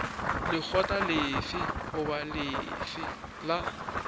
lekgotla lefe goba lefe la